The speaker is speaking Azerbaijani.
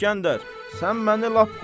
İsgəndər, sən məni lap qorxudursan.